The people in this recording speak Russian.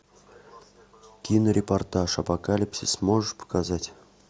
кинорепортаж апокалипсис можешь показать